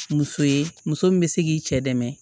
Muso ye muso min bɛ se k'i cɛ dɛmɛ